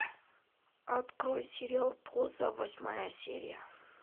открой сериал поза восьмая серия